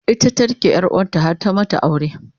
ita ta rike ƴar wanta har ta mata aure